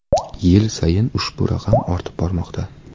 Yil sayin ushbu raqam ortib bormoqda.